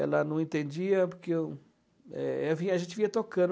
Ela não entendia porque o eh ela via, a gente via tocando.